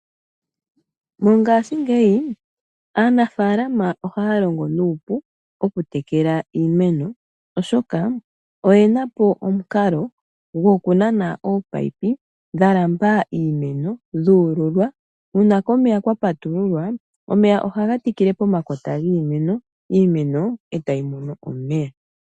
Mongashingeyi aanafalama ohaya longo nuupu okutekela iimeno oshoka oyena po gwokunana ominino dhomeya dhalandula iimeno dhuululwa. Uuna komeya kwapatululwa omeya ohaga tikile pomakota giimeno, iimeno etayi mono omeya.